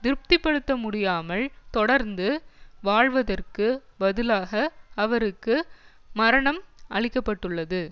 திருப்திப்படுத்தமுடியாமல் தொடர்ந்து வாழ்வதற்கு பதிலாக அவருக்கு மரணம் அளிக்க பட்டுள்ளது